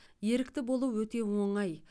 ерікті болу өте оңай